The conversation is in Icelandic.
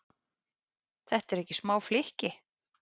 Þetta eru ekki smá flykki?